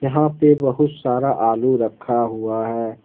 यहां पे बहुत सारा आलू रखा हुआ है।